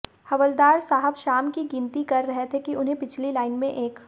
हवलदार साहब शाम की गिनती कर रहे थे कि उन्हें पिछली लाईन में एक